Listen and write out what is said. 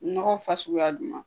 Nɔgɔ fasuguya juman ?